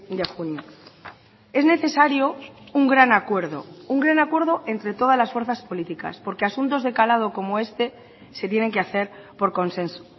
de junio es necesario un gran acuerdo un gran acuerdo entre todas las fuerzas políticas porque asuntos de calado como este se tienen que hacer por consenso